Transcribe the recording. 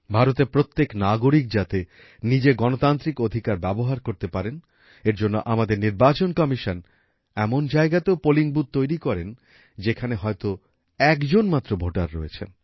ভারতের প্রত্যেক নাগরিক যাতে নিজের গণতান্ত্রিক অধিকার ব্যবহার করতে পারে এর জন্য আমাদের নির্বাচন কমিশন এমন জায়গাতেও পোলিং বুথ তৈরি করেন যেখানে হয়তো একজন মাত্র ভোটার রয়েছেন